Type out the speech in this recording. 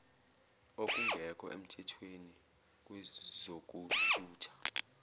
okungekho emthethweni kwezokuthutha